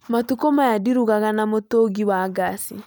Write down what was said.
Matukũ maya ndirugaga na mũtũngi wa ngaci